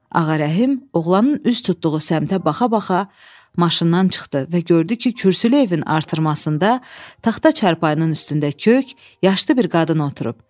Ağa Rəhim oğlanın üz tutduğu səmtə baxa-baxa maşından çıxdı və gördü ki, kürsülü evin artırmasında taxta çarpayının üstündə kök yaşlı bir qadın oturub.